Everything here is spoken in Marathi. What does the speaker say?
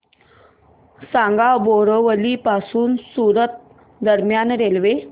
सांगा बोरिवली पासून सूरत दरम्यान रेल्वे